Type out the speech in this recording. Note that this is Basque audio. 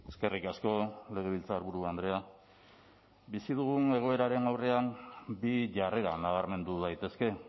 eskerrik asko legebiltzarburu andrea bizi dugun egoeraren aurrean bi jarrera nabarmendu daitezke